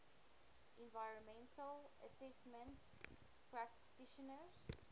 environmental assessment practitioners